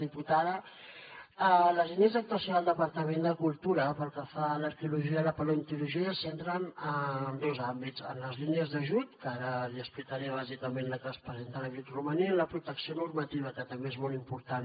diputada les línies d’actuació del departament de cultura pel que fa a l’arqueologia i la paleontologia se centren en dos àmbits en les línies d’ajut que ara li explicaré bàsicament la que es presenta a l’abric romaní i la protecció normativa que també és molt important